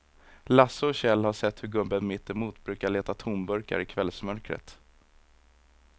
Lasse och Kjell har sett hur gubben mittemot brukar leta tomburkar i kvällsmörkret.